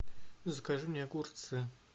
закажи мне огурцы